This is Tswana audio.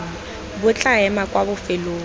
bo tla ema kwa bofelong